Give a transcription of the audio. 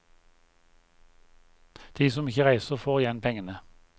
De som ikke reiser, får igjen pengene.